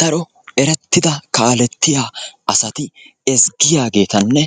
Daro erettida kaaletiya asati ezggiyageetanne